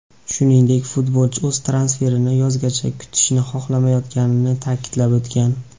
Shuningdek, futbolchi o‘z transferini yozgacha kutishni xohlamayotganini ta’kidlab o‘tgan.